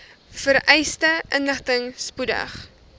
vereiste inligting spoedig